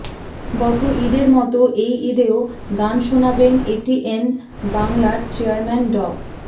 গত ঈদের মতো এই ঈদেও গান শোনাবেন এটিএন বাংলার চেয়ারম্যান ড